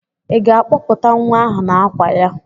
Ị ga-akpọpụta nwa ahụ n'àkwà ya?